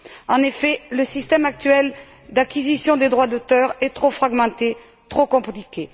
En effet, le système actuel d'acquisition des droits d'auteur est trop fragmenté, trop compliqué.